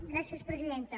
gràcies presidenta